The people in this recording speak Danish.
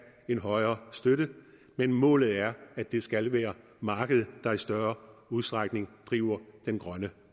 en højere støtte men målet er at det skal være markedet der i større udstrækning driver den grønne